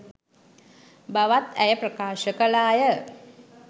බවත් ඇය ප්‍රකාශ කළා ය.